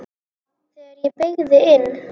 Þegar ég beygði inn